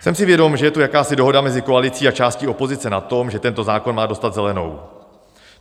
Jsem si vědom, že je tu jakási dohoda mezi koalicí a částí opozice na tom, že tento zákon má dostat zelenou.